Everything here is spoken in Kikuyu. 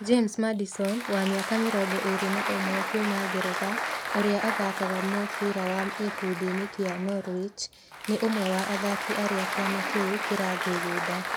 James Maddison wa mĩaka mĩrongo ĩĩrĩ na ũmwe kuuma Ngeretha, ũrĩa ũthakaga mũbirawa gĩkundi-inĩ kĩa Norwich nĩ ũmwe wa athaki arĩa kĩama kĩu kĩrathugunda